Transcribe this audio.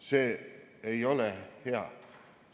See ei ole hea.